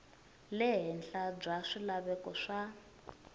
le henhla bya swilaveko swa